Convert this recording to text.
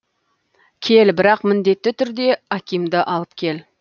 кел бірақ міндетті түрде акимды алып кел